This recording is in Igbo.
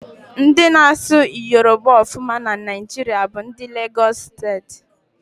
Ndị na-asụ Yoroba ọfụma na Naijiria bụ ndị Legosị Steeti.